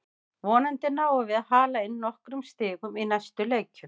Vonandi náum við að hala inn nokkrum stigum í næstu leikjum.